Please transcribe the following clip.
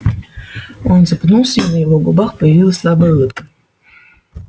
он запнулся и на его губах появилась слабая улыбка